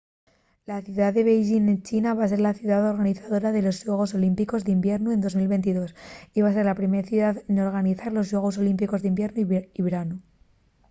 la ciudá de beixín en china va ser la ciudá organizadora de los xuegos olímpicos d’hibiernu de 2022 y va ser la primer ciudá n’organizar los xuegos olímpicos d’hibiernu y branu